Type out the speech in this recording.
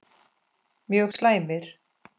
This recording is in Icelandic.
Mjög slæmir